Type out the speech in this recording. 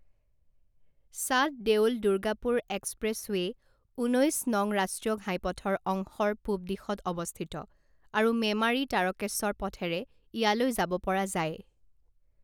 চাট দেউল দুৰ্গাপুৰ এক্সপ্ৰেছৱে' ঊনৈছ নং ৰাষ্ট্ৰীয় ঘাইপথৰ অংশৰ পূব দিশত অৱস্থিত আৰু মেমাৰী-তাৰকেশ্বৰ পথেৰে ইয়ালৈ যাব পৰা যায়।